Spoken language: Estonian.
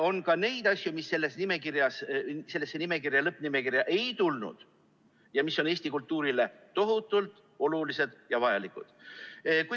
On ka neid asju, mis sellesse lõppnimekirja ei läinud ja mis on Eesti kultuurile tohutult olulised ja vajalikud.